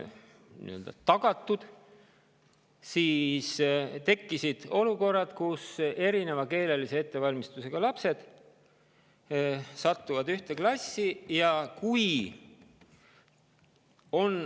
On olukordi, kus erineva keelelise ettevalmistusega lapsed satuvad ühte klassi.